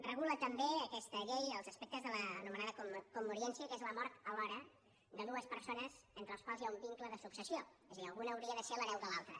regula també aquesta llei els aspectes de l’anomenada commoriència que és la mort alhora de dues persones entre les quals hi ha un vincle de successió és a dir alguna hauria de ser l’hereva de l’altra